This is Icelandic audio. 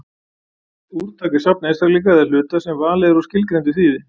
Úrtak er safn einstaklinga eða hluta sem er valið úr skilgreindu þýði.